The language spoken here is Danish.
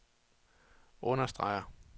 understreger